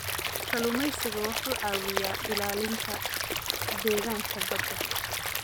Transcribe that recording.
Kalluumeysigu wuxuu caawiyaa ilaalinta deegaanka badda.